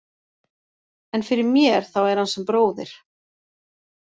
En fyrir mér þá er hann sem bróðir.